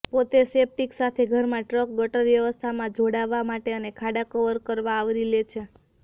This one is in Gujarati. પોતે સેપ્ટિક સાથે ઘરમાં ટ્રંક ગટર વ્યવસ્થામાં જોડાવા માટે અને ખાડા કવર આવરી લે છે